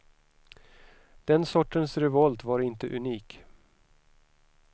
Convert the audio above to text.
Den sortens revolt var inte unik.